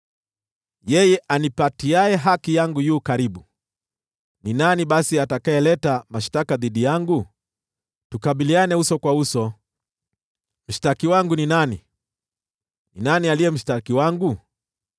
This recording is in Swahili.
Yeye anipatiaye haki yangu yu karibu. Ni nani basi atakayeleta mashtaka dhidi yangu? Tukabiliane uso kwa uso! Mshtaki wangu ni nani? Ni nani aliye mshtaki wangu?